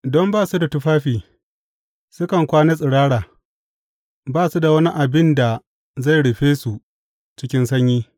Don ba su da tufafi, sukan kwana tsirara; ba su da wani abin da zai rufe su cikin sanyi.